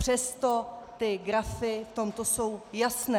Přesto ty grafy v tomto jsou jasné.